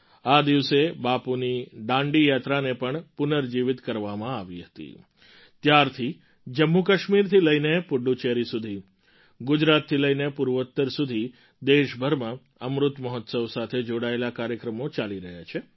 આ દિવસે બાપુની દાંડી યાત્રાને પણ પુનર્જીવિત કરવામાં આવી હતી ત્યારથી જમ્મુકાશ્મીરથી લઈને પુડુચેરી સુધી ગુજરાતથી લઈને પૂર્વોત્તર સુધી દેશભરમાં અમૃત મહોત્સવ સાથે જોડાયેલા કાર્યક્રમો ચાલી રહ્યા છે